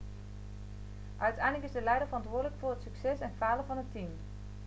uiteindelijk is de leider verantwoordelijk voor het succes en falen van het team